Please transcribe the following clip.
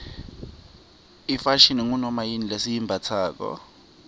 ifashini ngunomayini lesiyimbatsalo